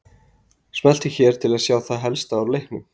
Smelltu hér til að sjá það helsta úr leiknum